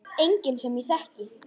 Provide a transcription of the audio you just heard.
Enginn sem ég þekki.